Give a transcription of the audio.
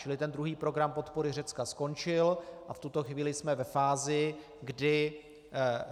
Čili ten druhý program podpory Řecka skončil a v tuto chvíli jsme ve fázi, kdy